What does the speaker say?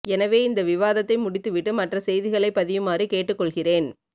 எனவே இந்த விவாதத்தை முடித்து விட்டு மற்ற செய்திகளை பதியுமாறு கேட்டு கொள்கிறேன்